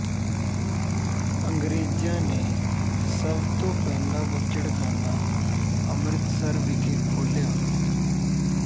ਅੰਗਰੇਜ਼ਾਂ ਨੇ ਸਭ ਤੋਂ ਪਹਿਲਾਂ ਬੁੱਚੜਖਾਨਾ ਅੰਮ੍ਰਿਤਸਰ ਵਿਖੇ ਖੋਲ੍ਹਿਆ